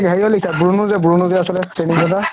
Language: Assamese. হৰিহৰ লিখা বুৰ্নো বুৰ্নো যে আছিলে দাদা